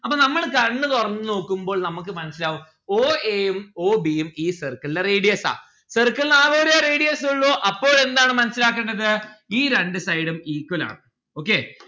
അപ്പൊ നമ്മള് കണ്ണ് തൊറന്ന് നോക്കുമ്പോൾ നമ്മുക്ക് മനസ്സിലാവും o a ഉം o b ഉം ഈ circle ന്റെ radius ആ. circle ന്ന് ആകെ ഒരു radius ഉള്ളു. അപ്പോൾ എന്താണ് മനസ്സിലാക്കേണ്ടത് ഈ രണ്ട്‌ side ഉം equal ആണ്. okay